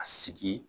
A sigi